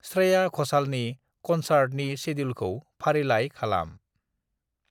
स्रेया घशालनि कनसार्टनि शेडिउलखौ फारिलाइलाय खालाम।